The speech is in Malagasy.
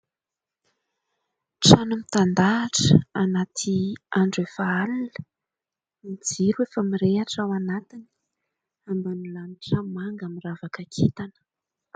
Trano mitandahatra anaty andro efa alina, ny jiro efa mirehitra ao anatiny, ambany lanitra manga miravaka kintana.